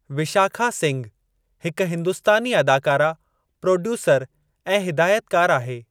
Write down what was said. विशाखा सिंघ हिक हिंदुस्तानी अदाकारा, प्रोड्यूसर ऐं हिदायतकार आहे।